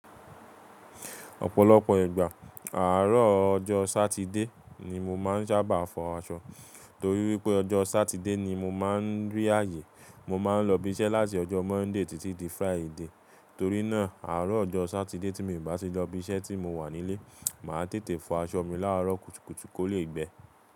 Ọ̀pọ̀lọpọ̀ ìgbà, àárọ̀ ọjọ́ Sátidé ni mo máa ń sábà fọ aṣọ, torí wípé ọjọ́ Sátidé ni mo máa ń rí ààyè. Mo ma n lọ ibi iṣẹ́ láti ọjọ́ Monday títí di Friday, tori náà aarọ ọjọ satide tí mi o ba ti lọ ibi isẹ ti mo wà n'ile maa tete fọ aṣọ mi laarọ kùtùkùtù ko le gbẹ.